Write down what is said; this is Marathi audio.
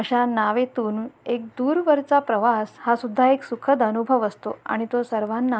नावेतून एक दूर वरचा प्रवास हा सुद्धा एक सुखद अनुभव असतो आणि तो सर्वांना--